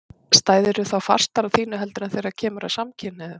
Stæðirðu þá fastar á þínu heldur en þegar það kemur að samkynhneigðum?